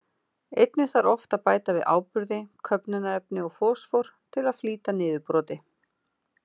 Einnig þarf oft að bæta við áburði, köfnunarefni og fosfór, til að flýta niðurbroti.